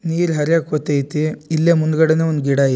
ನೀರ್ ಹರಿಯಾಕ್ಕೂತ್ತೈತಿ ಇಲ್ಲೇ ಮುಂದ್ಗಡೆನೆ ಒಂದ್ ಗಿಡ ಐ--